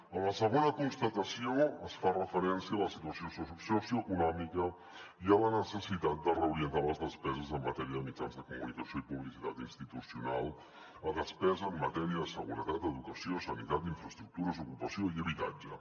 en la segona constatació es fa referència a la situació socioeconòmica i a la necessitat de reorientar les despeses en matèria de mitjans de comunicació i publicitat institucional a despesa en matèria de seguretat educació sanitat infraestructures ocupació i habitatge